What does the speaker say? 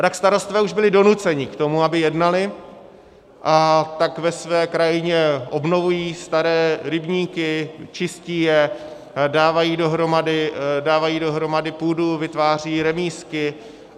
A tak starostové už byli donuceni k tomu, aby jednali, a tak ve své krajině obnovují staré rybníky, čistí je, dávají dohromady půdu, vytvářejí remízky.